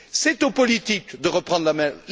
C'est aux politiques de reprendre la main.